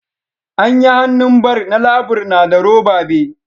Anyi hannun bar na labur na da roba be.